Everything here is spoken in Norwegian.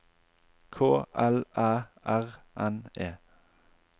K L Æ R N E